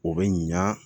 O bɛ ɲan